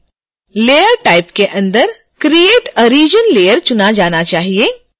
layer type के अंदर create a region layer चुना जाना चाहिए